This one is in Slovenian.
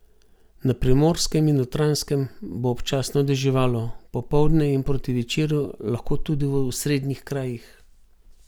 Na Primorskem in Notranjskem bo občasno deževalo, popoldne in proti večeru lahko tudi v osrednjih krajih.